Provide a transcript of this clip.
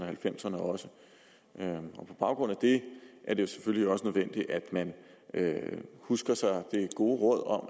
halvfemserne også og på baggrund af det er det selvfølgelig også nødvendigt at man husker det gode råd om